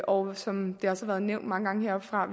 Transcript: og som det også har været nævnt mange gange heroppefra